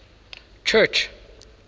church